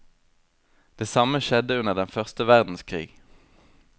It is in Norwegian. Det samme skjedde under den første verdenskrig.